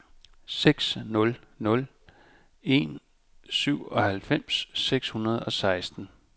seks nul nul en syvoghalvfems seks hundrede og seksten